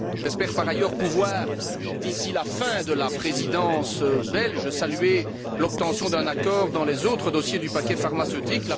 J'espère, par ailleurs, pouvoir, d'ici la fin de la Présidence belge, saluer l'obtention d'un accord dans les autres dossiers du paquet pharmaceutique.